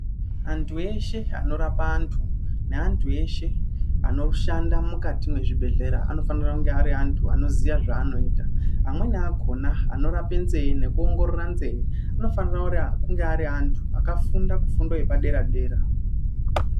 Antu eshe anorapa antu neantu eshe anoshanda mukati mwezvibhehlera anofanira kunge ari antu anoziya zvaanoita, amweni akhona anorapa nzee nekuongorora nzee anofanira kunge ari antu akafunda kufundo yepadera-dera.